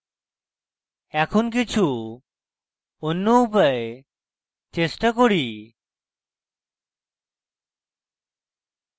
কিছু অন্য উপায় চেষ্টা করি